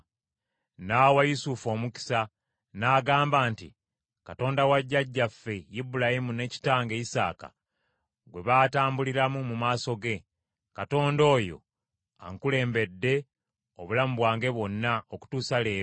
N’awa Yusufu omukisa, n’agamba nti, “Katonda wa jjajjange Ibulayimu ne kitange Isaaka gwe baatambulira mu maaso ge, Katonda oyo ankulembedde obulamu bwange bwonna okutuusa leero,